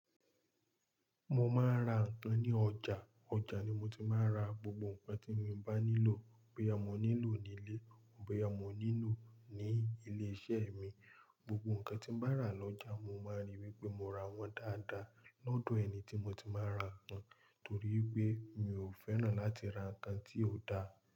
Mo máa ń ra ǹkan ní ọjà, ọjà ni mo ti máa ń ra gbogbo ǹkan tí mo bá nílò, bóyá mo nílò ní ilé, bóyá mo nílò ní ilé iṣẹ́ mi. Gbogbo ǹkan tí mo bá rà lọ́jà, mo máa ríi wípé mo ra wón dáadáa lọ́dọ̀ ẹni tí mo ti máa ń ra ǹkan, torí pé mi ò fẹ́ràn láti ra ǹkan tí ò da.